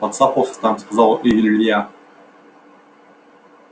поцапался там сказал илья